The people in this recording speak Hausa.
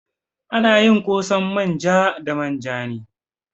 Ana yin ƙosan manja da manja ne.